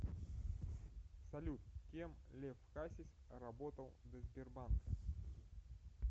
салют кем лев хасис работал до сбербанка